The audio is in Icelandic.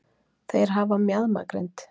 þeir hafa mjaðmagrind